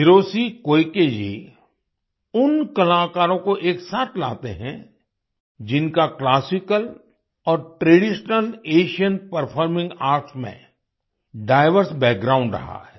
Hiroshi Koike ji उन कलाकारों को एक साथ लाते हैं जिनका क्लासिकल और ट्रेडिशनल एशियन परफॉर्मिंग आर्ट में डाइवर्स बैकग्राउंड रहा है